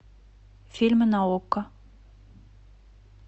фильмы на окко